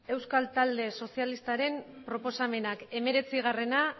euskal talde sozialistaren proposamenak hemeretzia